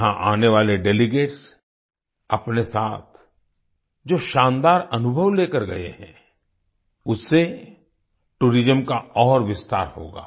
यहाँ आने वाले डेलीगेट्स अपने साथ जो शानदार अनुभव लेकर गए हैं उससे टूरिज्म का और विस्तार होगा